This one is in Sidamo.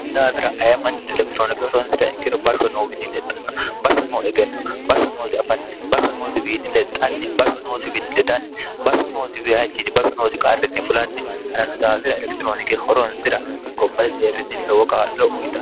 si daafira ayammanchino elektiroonike horonsira ikkiru barso noo wiini lexxanno baso noo egenno baho noosi afanni baho noosiwiinni lexxanni baho noosiwiini ledanni baso noosi wiychini baso noosi qarrinni fulanni harannu daafira elektiroonike horonsira gobbai deerrinni lowo qaa'lo uyixan